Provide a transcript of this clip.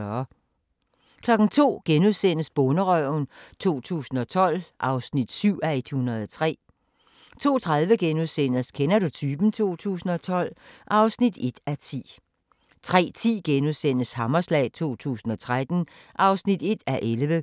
02:00: Bonderøven 2012 (7:103)* 02:30: Kender du typen? 2012 (1:10)* 03:10: Hammerslag 2013 (1:11)*